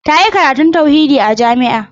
Ta yi karatun tauhidi a jami'a.